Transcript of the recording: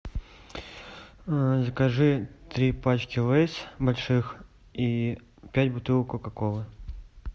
закажи три пачки лейс больших и пять бутылок кока колы